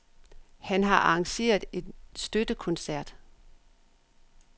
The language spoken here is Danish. Han har arrangeret en støttekoncert.